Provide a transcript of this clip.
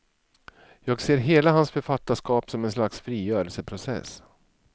Jag ser hela hans författarskap som en slags frigörelseprocess.